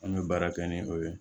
An bɛ baara kɛ ni o ye